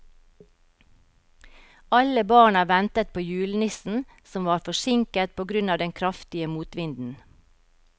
Alle barna ventet på julenissen, som var forsinket på grunn av den kraftige motvinden.